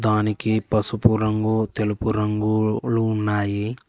దానికి పసుపు రంగు తెలుపు రంగులు ఉన్నాయి.